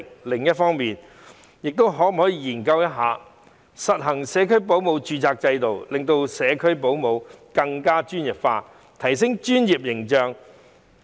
另一方面，亦應研究實行社區保姆註冊制度，令社區保姆更專業化，藉以提升專業形象。